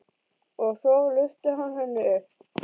Og svo lyfti hann henni upp.